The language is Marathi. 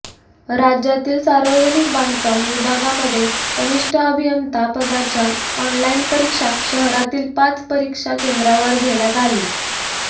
राज्यातील सार्वजनिक बांधकाम विभागामध्ये कनिष्ठ अभियंता पदाच्या ऑनलाईन परीक्षा शहरातील पाच परीक्षा केंद्रांवर घेण्यात आली